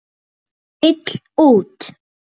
Vill út.